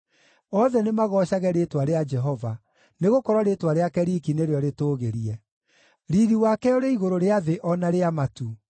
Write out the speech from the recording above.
Othe nĩmagoocage rĩĩtwa rĩa Jehova, nĩgũkorwo rĩĩtwa rĩake riiki nĩrĩo rĩtũũgĩrie; riiri wake ũrĩ igũrũ rĩa thĩ o na rĩa matu.